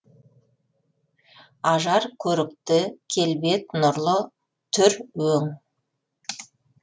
ажар көрікті келбет нұрлы түр өң